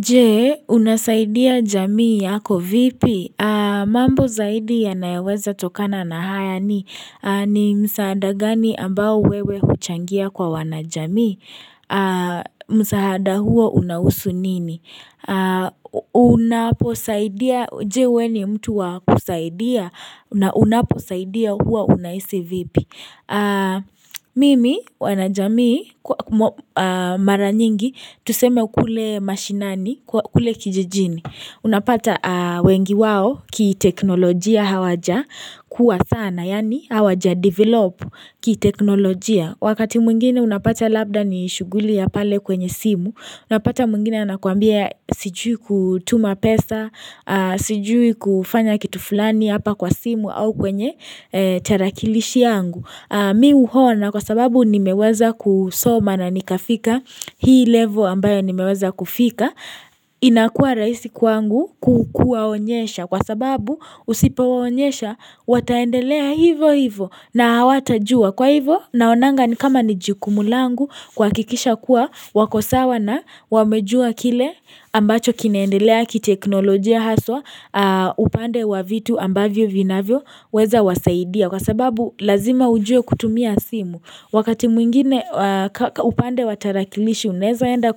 Je, unasaidia jamii yako vipi? Mambo zaidi yanayoweza tokana na haya ni ni msaada gani ambao wewe huchangia kwa wana jamii? Msaada huo unawusu nini? Unaposaidia, je we ni mtu wakusaidia na unaposaidia huwa unahisi vipi? Mimi, wana jamii, mara nyingi, Tuseme kule mashinani, kule kijijini Unapata wengi wao kiteknolojia hawaja kua sana Yani hawaja develop kiteknolojia Wakati mwingine unapata labda ni shughuli ya pale kwenye simu Unapata mwingine anakuambia sijui kutuma pesa Sijui kufanya kitu fulani hapa kwa simu au kwenye tarakilishi yangu Mimi uona kwa sababu nimeweza kusoma na nikafika Hii level ambayo nimeweza kufika inakua rahisi kwangu kuwaonyesha Kwa sababu usipowaonyesha Wataendelea hivo hivo na hawatajua Kwa hivo naonanga ni kama ni jikumu langu kuhakikisha kuwa wako sawa na wamejua kile ambacho kinaendelea kiteknolojia haswa upande wa vitu ambavyo vinavyoweza wasaidia Kwa sababu lazima ujue kutumia simu Wakati mwingine upande wa tarakilishi unaweza enda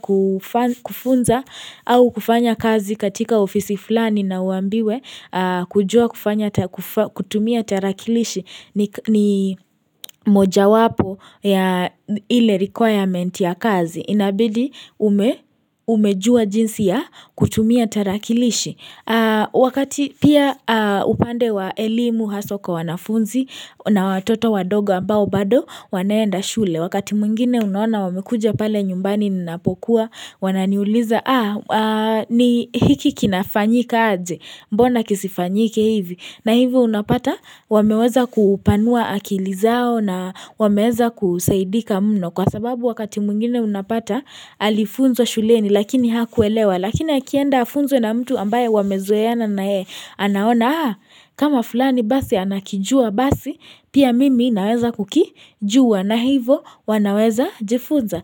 kufunza au kufanya kazi katika ofisi fulani na uambiwe kujua kutumia tarakilishi ni moja wapo ya ile requirement ya kazi. Inabidi umejua jinsi ya kutumia tarakilishi wakati pia upande wa elimu haswa kwa wanafunzi na watoto wadoga ambao bado wanaenda shule wakati mwingine unaona wamekuja pale nyumbani ninapokuwa wananiuliza ah ni hiki kinafanyika aje mbona kisifanyike hivi na hivi unapata wameweza kupanua akili zao na wameweza kusaidika mno kwa sababu wakati mwingine unapata alifunza shuleni lakini hakuelewa lakini akienda afunzwe na mtu ambaye wamezoeana na yeye anaona kama fulani basi anakijua basi pia mimi naweza kukijua na hivo wanaweza jifunza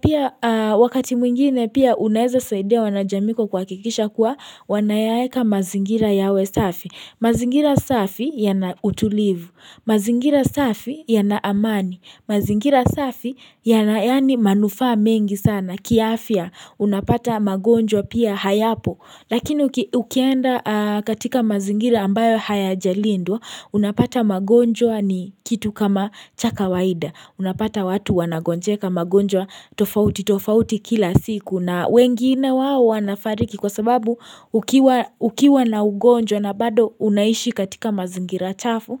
pia wakati mwingine pia unaweza saidia wanajamii kwa kuhakikisha kuwa wanayaeka mazingira yawe safi mazingira safi yana utulivu mazingira safi yana amani mazingira safi yana yani manufaa mengi sana kiafya unapata magonjwa pia hayapo Lakini ukienda katika mazingira ambayo hayajalindwa unapata magonjwa ni kitu kama cha kawaida Unapata watu wanagonjeka magonjwa tofauti tofauti kila siku na wengine wao wanafariki kwa sababu ukiwa ukiwa na ugonjwa na bado unaishi katika mazingira chafu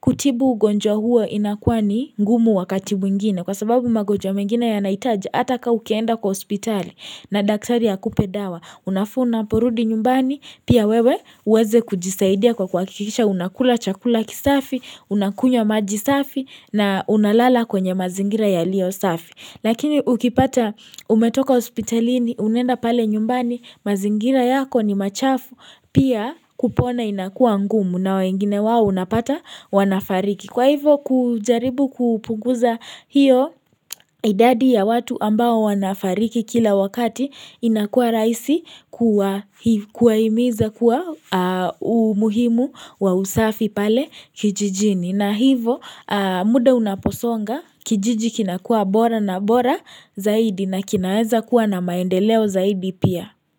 kutibu ugonjwa huo inakua ni ngumu wakati mwingine Kwa sababu magonjwa mengine ya nahitaji Atakaukienda kwa hospitali na daktari akupe dawa Unafaa unaporudi nyumbani Pia wewe uweze kujisaidia kwa kuhakikisha unakula chakula kisafi Unakunywa maji safi na unalala kwenye mazingira yaliyo safi Lakini ukipata umetoka hospitalini Unaenda pale nyumbani mazingira yako ni machafu Pia kupona inakuwa ngumu na wengine wao unapata wanafariki kwa hivyo kujaribu kupuguza hiyo idadi ya watu ambao wanafariki kila wakati inakuwa rahisi kuwahimiza kuwa umuhimu wa usafi pale kijijini na hivo muda unaposonga kijiji kinakua bora na bora zaidi na kinaweza kuwa na maendeleo zaidi pia.